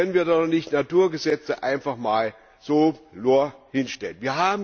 So können wir doch nicht Naturgesetze einfach mal so hinstellen!